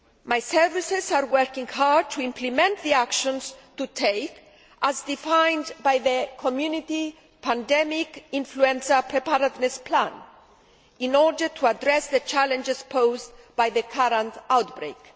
My services are working hard to implement the actions to take, as defined by the Community pandemic influenza preparedness plan, in order to address the challenges posed by the current outbreak.